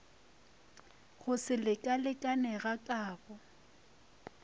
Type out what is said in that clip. go se lekalekane ga kabo